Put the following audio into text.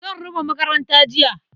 Zan rufe makaranta jiya.